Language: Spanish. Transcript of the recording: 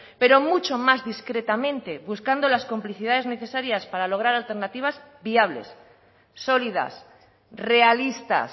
pero mucho más discretamente buscando las complicidades necesarias para lograr alternativas viables sólidas realistas